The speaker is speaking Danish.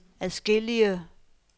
adskillige